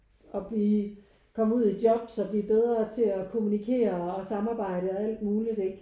Og blive komme ud i jobs og blive bedre til at kommunikere og samarbejde og alt muligt ikke?